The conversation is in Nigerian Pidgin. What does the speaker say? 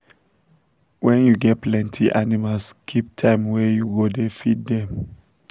when you get plenty animals keep time wey you go da feed dem